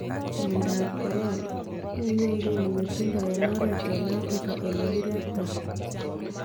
Myandap corona :Muunyee nguni ng'etundo en oreet en Afrika olee kiretaa